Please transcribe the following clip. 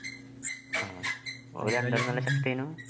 ആഹ് ഓരു രണ്ടാലും നല്ല ശക്തി ഏനു